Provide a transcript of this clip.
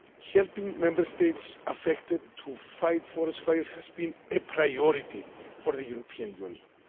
Helping Member States affected to fight forest fires has been a priority for the European Union.